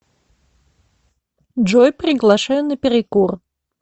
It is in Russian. джой приглашаю на перекур